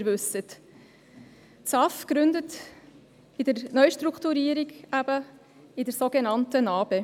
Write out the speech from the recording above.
Das SAFG gründet eben in der Neustrukturierung, in der sogenannten NA-BE.